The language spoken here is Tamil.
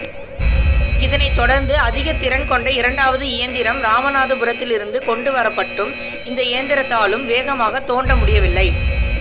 இதனைத் தொடர்ந்து அதிகத்திறன் கொண்ட இரண்டாவது இயந்திரம் ராமநாதபுரத்திலிருந்து கொண்டு வரப்பட்டும் இந்த இயந்திரத்தாலும் வேகமாக தொண்ட முடியவில்லை